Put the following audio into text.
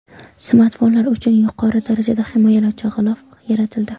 Smartfonlar uchun yuqori darajada himoyalovchi g‘ilof yaratildi .